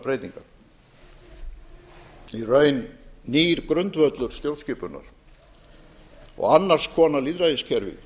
breytingar í raun nýr grundvöllur stjórnskipunar og annars konar lýðræðiskerfi